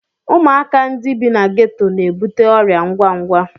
Ụmụaka ndị bi na geto na-ebute ọrịa ngwa ngwa.